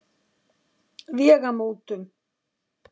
Vegamótum